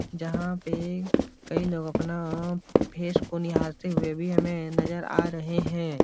जहाँ पे कई लोग अपना फेस को निहारते हुए भी हमें नजर आ रहे हैं।